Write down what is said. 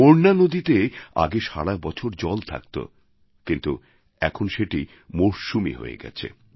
মোরনা নদীতে আগে সারা বছর জল থাকত কিন্তু এখন সেটি মরশুমী হয়ে গেছে